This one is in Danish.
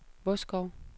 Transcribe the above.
Vodskov